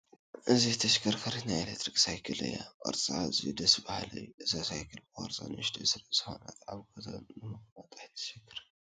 እዚ ተሽከርካሪት ናይ ኤለክትሪክ ሳይክል እያ፡፡ ቅርፃ ኣዝዩ ደስ በሃሊ እዩ፡፡ እዛ ሳይክል ብቕርፃ ንኡሽተይ ስለዝኾነት ኣብ ገዛ ንምቕማጥ ኣይተሸግርን፡፡